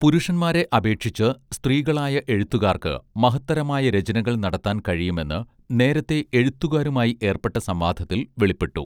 പുരുഷന്മാരെ അപേക്ഷിച്ച് സ്ത്രീകളായ എഴുത്തുകാർക്ക് മഹത്തരമായ രചനകൾ നടത്താൻ കഴിയുമെന്ന് നേരത്തേ എഴുത്തുകാരുമായി ഏർപ്പെട്ട സംവാദത്തിൽ വെളിപ്പെട്ടു